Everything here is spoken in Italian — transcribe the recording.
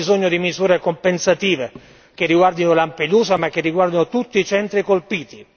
Abbiamo bisogno di misure compensative che riguardino Lampedusa, ma che riguardino tutti i centri colpiti.